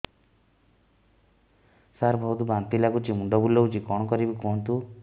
ସାର ବହୁତ ବାନ୍ତି ଲାଗୁଛି ମୁଣ୍ଡ ବୁଲୋଉଛି କଣ କରିବି କୁହନ୍ତୁ